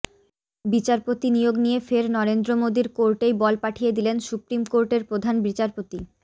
বিচারপতি নিয়োগ নিয়ে ফের নরেন্দ্র মোদীর কোর্টেই বল পাঠিয়ে দিলেন সুপ্রিম কোর্টের প্রধান বিচারপতি